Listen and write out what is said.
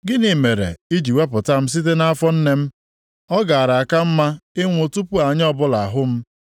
“Gịnị mere i ji wepụta m site nʼafọ nne m? Ọ gaara aka m mma ịnwụ tupu anya ọbụla ahụ m.